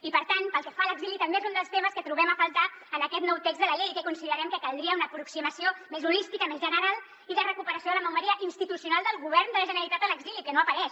i per tant pel que fa a l’exili també és un dels temes que trobem a faltar en aquest nou text de la llei i que considerem que caldria una aproximació més holística més general i de recuperació de la memòria institucional del govern de la generalitat a l’exili que no apareix